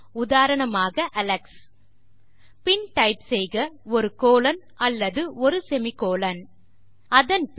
உதாரணமாக அலெக்ஸ் பின் டைப் செய்க ஒரு கோலோன் அல்லது ஒரு சேமி கோலோன் அதன் பின்